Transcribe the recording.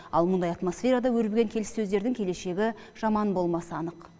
ал мұндай атмосферада өрбіген келіссөздердің келешегі жаман болмаса анық